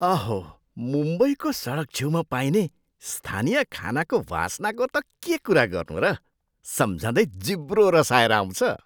अहो! मुम्बईको सडकछेउमा पाइने स्थानीय खानाको वासनाको त के कुरा गर्नु र? सम्झँदै जिब्रो रसाएर आउँछ।